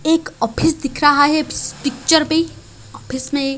एक ऑफिस दिख रहा है इस पिक्चर में ऑफिस में--